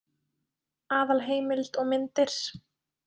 Aðalheimild og myndir: